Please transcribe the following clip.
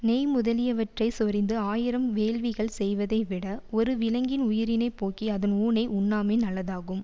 நெய் முதலியவற்றைச் சொரிந்து ஆயிரம் வேள்விகள் செய்வதைவிட ஒரு விலங்கின் உயிரினைப் போக்கி அதன் ஊனை உண்ணாமை நல்லதாகும்